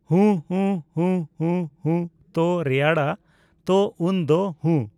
ᱦᱩᱸ, ᱦᱩᱸ, ᱦᱩᱸ, ᱦᱩᱸ᱾ ᱦᱩᱸ ᱛᱚ ᱨᱮᱭᱟᱲᱟ ᱛᱚ ᱩᱱ ᱫᱚ᱾ ᱦᱩᱸ